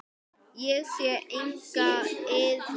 Ég sé enga iðrun.